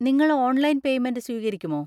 നിങ്ങൾ online payment സ്വീകരിക്കുമോ?